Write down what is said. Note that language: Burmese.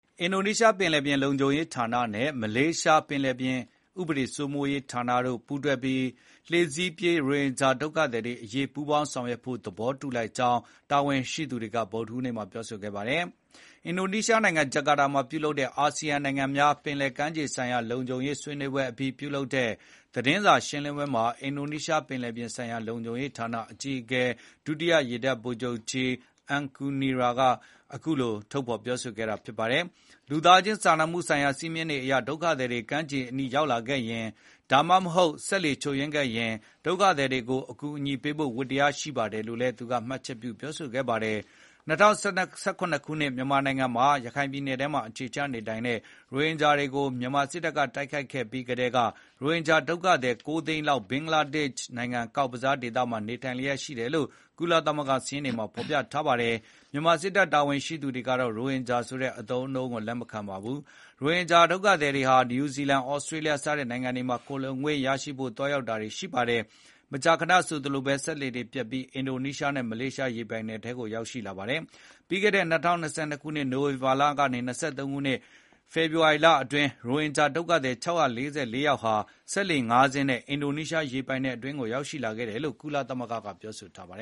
အင်ဒိုနီးရှားပင်လယ်ပြင်လုံခြုံရေးဌာနနဲ့ မလေးရှားပင်လယ်ပြင်ဥပဒေစိုးမိုးရေးဌာနတို့ ပူးတွဲပြီး လှေစီးပြေးရိုဟင်ဂျာဒုက္ခ သည်တွေအရေးပူးပေါင်းဆောင်ရွက်ဖို့ သဘောတူလိုက်ကြောင်း တာဝန်ရှိသူ တွေက ဗုဒ္ဓဟူးနေ့မှာပြောဆိုခဲ့ပါတယ်။ အင်ဒိုနီးရှားနိုင်ငံ၊ ဂျာကာတာမှာ ဗုဒ္ဓဟူးနေ့ကျင်းပတဲ့ ၂၀၂၃ (ASEAN Coast Guard Forum) အာဆီယံနိုင်ငံများ ပင်လယ်ကမ်းရိုးတန်းဆိုင်ရာလုံခြုံရေးဆွေးနွေးပွဲအပြီး ပြုလုပ်တဲ့ သတင်းစာ ရှင်းလင်းပွဲမှာ အင်ဒိုနီးရှားပင်လယ်ပြင်ဆိုင်ရာလုံခြုံရေးဌာနအကြီးအကဲ ဒုတိယရေတပ်ဗိုလ်ချုပ်ကြီး Aan Kurnia က အခုလိုထုတ်ဖေါ်ပြောဆိုခဲ့တာပါ။ လူသားခြင်းစာနာမှုဆိုင်ရာစည်းမျဉ်းတွေအရ ဒုက္ခသည်တွေ ကမ်းခြေအနီးရောက်လာခဲ့ရင်၊ ဒါမှမဟုတ် စက်လှေချို့ ယွင်းခဲ့ရင်၊ ဒုက္ခသည်တွေကို အကူအညီပေးဖို့ ဝတ္တရားရှိပါတယ်လို့လည်းသူက မှတ်ချက် ပြုပြောဆိုခဲ့ပါတယ်။ ၂၀၁၇ ခုနှစ်မြန်မာနိုင်ငံမှာ ရခိုင်ပြည်နယ်ထဲမှာအခြေချနေထိုင်နေတဲ့ ရိုဟင်ဂျာတွေကို မြန်မာစစ်တပ်က တိုက်ခိုက်ခဲ့ပြီးကတည်းက ရိုဟင်ဂျာဒုက္ခသည် ၉ သိန်းလောက် ဘင်္ဂလားဒေ့ရှ်နိုင်ငံ ကောက်ဘဇားဒေသမှာ နေထိုင်လျက်ရှိတယ်လို့ ကုလသမဂ္ဂစာရင်းတွေမှာဖေါ်ပြထားပါတယ်။ မြန်မာစစ်တပ်တာဝန်ရှိသူတွေကတော့ ရိုဟင်ဂျာဆိုတဲ့အသုံးအနှုန်း ကိုလက်မခံပါဘူး။ ဒီရိုဟင်ဂျာဒုက္ခသည်တွေဟာ နယူးဇီလန်၊ သြစတြေးလျ စတဲ့နိုင်ငံတွေမှာ ခိုလှုံခွင့်ရဖို့သွားရောက်တာ တွေရှိပါတယ်။ မကြာခဏဆိုသလိုဘဲ စက်လှေတွေပျက်ပြီး အင်ဒိုနီးရှားနဲ့မလေးရှား ရေပိုင်နက်ထဲ ကိုရောက်ရှိလာတတ်ပါတယ်။ ပြီးခဲ့တဲ့ ၂၀၂၂ ခုနှစ် နိုဝင်ဘာလကနေ ၂၀၂၃ ခုနှစ် ဖေဖေါ်ဝါရီလအတွင်း ရိုဟင်ဂျာဒုက္ခသည် ၆၄၄ ယောက်ဟာ စက်လှေ ၅ စင်းနဲ့ အင်ဒိုရီးရှားရေပိုင်နက်အတွင်းကိုရောက်ရှိလာခဲ့တယ်လို့ ကုလသမဂ္ဂကဖေါ်ပြထားပါတ